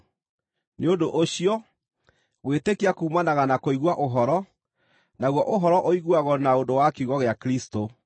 Nĩ ũndũ ũcio, gwĩtĩkia kuumanaga na kũigua ũhoro, naguo ũhoro ũiguagwo na ũndũ wa kiugo gĩa Kristũ.